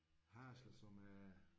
Det er det